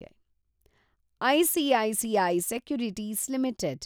ICICI securities limited